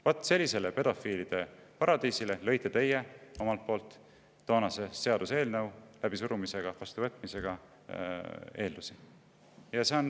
" Vaat sellise pedofiilide paradiisi tekkeks lõite te eelduse, kui toonase seaduseelnõu läbi surusite ja vastu võtsite.